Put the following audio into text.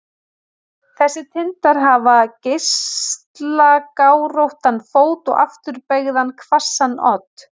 Þessir tindar hafa geislagáróttan fót og afturbeygðan hvassan odd.